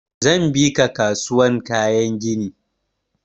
Zan bi ka kasuwan kayan gini.